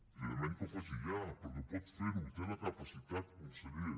li demanem que ho faci ja perquè pot fer ho en té la capacitat conseller